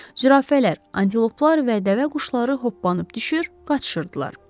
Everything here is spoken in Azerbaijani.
Zürafələr, antiloplar və dəvəquşları hoppanıb düşür, qaçışırdılar.